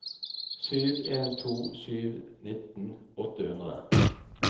sju en to sju nitten åtte hundre